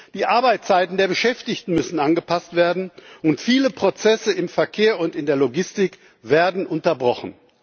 Die Arbeitszeiten der Beschäftigten müssen angepasst werden, und viele Prozesse im Verkehr und in der Logistik werden unterbrochen.